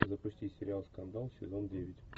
запусти сериал скандал сезон девять